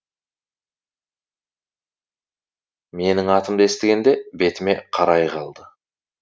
менің атымды естігенде бетіме қарай қалды